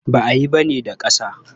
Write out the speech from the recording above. Ba a yin bene da ƙasa.